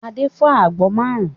Adé fọ́ àgbọn márùn-ún.